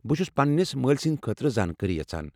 بہٕ چھُس پنٛنس مٲلۍ سٕنٛدِ خٲطرٕ زانکٲری یژھان۔